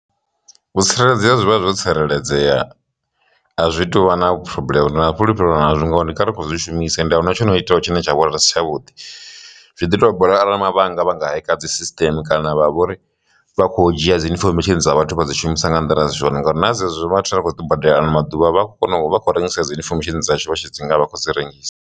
Vho tsireledzea zwi vha zwo tsireledzea azwi tuvha na phurobuḽeme ndi na fhulufhelo na zwo ngori ndi kale ri kho zwi shumisa ende ahuna tshono iteyaho tshine tsha vhonala si tshavhuḓi, zwi ḓi tovha bola arali mavhanga vha nga heka dzisisiteme, kana vha vha uri vha kho dzhia dzi infomesheni dza vhathu vha dzi shumisa nga nḓila zwone ngauri na dzi hezwo vhathu ra khou tou badela ano maḓuvha vha kho kona u vha khou rengisa dzi infomesheni dza tshitshavha tshi dzi nga a vha khou dzi rengisa.